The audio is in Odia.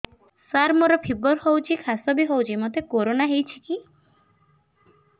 ସାର ମୋର ଫିବର ହଉଚି ଖାସ ବି ହଉଚି ମୋତେ କରୋନା ହେଇଚି କି